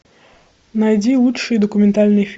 найди лучшие документальные